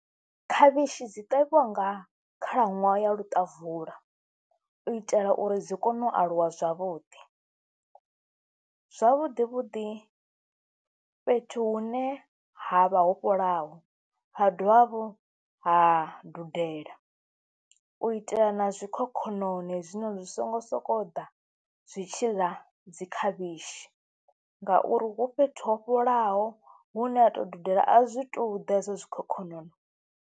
Khavhishi dzi ṱavhiwa nga khalaṅwaha ya luṱavula u itela uri dzi kone u aluwa zwavhuḓi, zwavhuḓi vhuḓi fhethu hune ha vha ho fholaho, ha dovha hafhu ha dudela u itela na zwikhokhonono hezwinoni zwi songo sokou ḓa zwi tshi la dzi khavhishi ngauri hu fhethu ho fhelelaho hune ha tou dudela a zwi tou ḓesa zwikhokhonono.